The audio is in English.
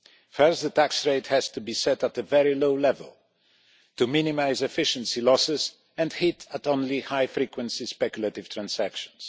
First, the tax rate has to be set at a very low level to minimise efficiency losses and hit only high frequency speculative transactions.